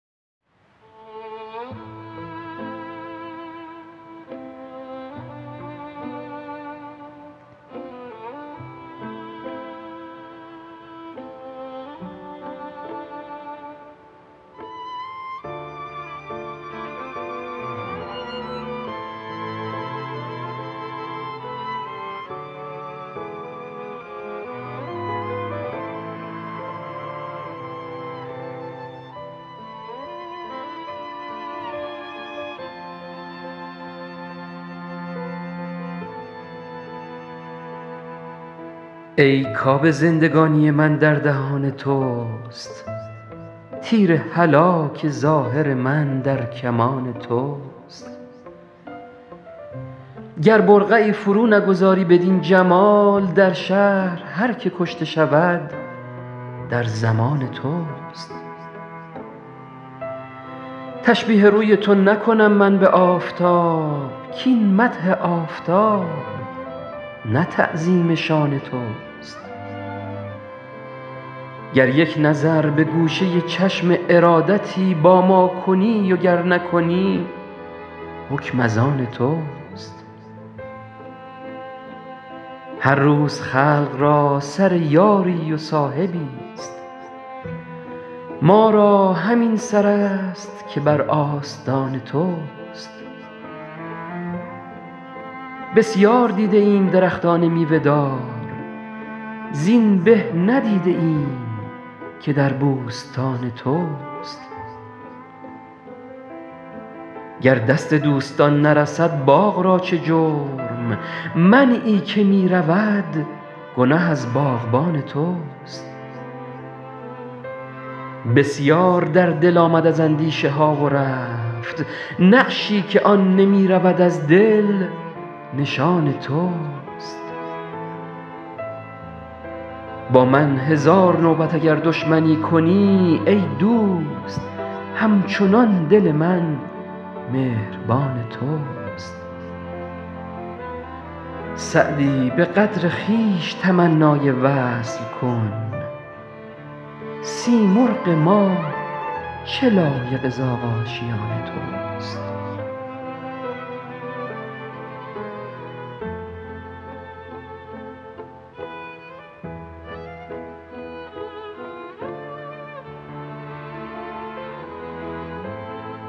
ای کآب زندگانی من در دهان توست تیر هلاک ظاهر من در کمان توست گر برقعی فرو نگذاری بدین جمال در شهر هر که کشته شود در ضمان توست تشبیه روی تو نکنم من به آفتاب کاین مدح آفتاب نه تعظیم شان توست گر یک نظر به گوشه چشم ارادتی با ما کنی و گر نکنی حکم از آن توست هر روز خلق را سر یاری و صاحبی ست ما را همین سر است که بر آستان توست بسیار دیده ایم درختان میوه دار زین به ندیده ایم که در بوستان توست گر دست دوستان نرسد باغ را چه جرم منعی که می رود گنه از باغبان توست بسیار در دل آمد از اندیشه ها و رفت نقشی که آن نمی رود از دل نشان توست با من هزار نوبت اگر دشمنی کنی ای دوست هم چنان دل من مهربان توست سعدی به قدر خویش تمنای وصل کن سیمرغ ما چه لایق زاغ آشیان توست